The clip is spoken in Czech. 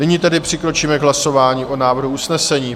Nyní tedy přikročíme k hlasování o návrhu usnesení.